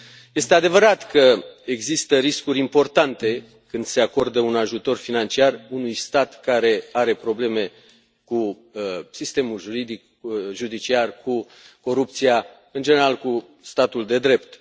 Este adevărat că există riscuri importante când se acordă un ajutor financiar unui stat care are probleme cu sistemul juridic, judiciar, cu corupția, în general cu statul de drept.